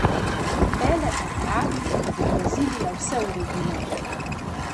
Pele pa pravi, da bo Brazilija vse uredila.